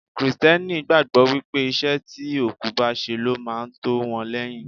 Kristẹni gbàgbọ́ wípé iṣẹ́ tí òkú bá ṣe ló máa tó wọn lẹ́yìn.